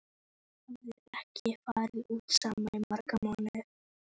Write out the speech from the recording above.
Þau hafa ekki farið út saman í marga mánuði.